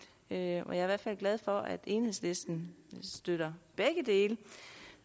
jeg er i hvert fald glad for at enhedslisten støtter begge dele